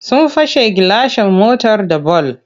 Sun fast gilashin motar da bal.